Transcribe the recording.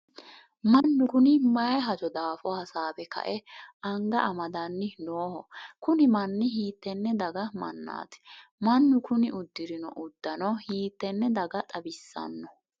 mannu kuni mayii hajo daafo hasaawe kae anga amadanni nooho? kuni manni hiittenne daga mannaati? mannu kuni uddirino uddano hiittene daga xawissanno?